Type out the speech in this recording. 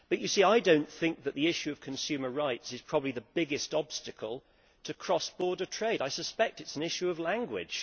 But I do not think that the issue of consumer rights is probably the biggest obstacle to cross border trade. I suspect it is an issue of language.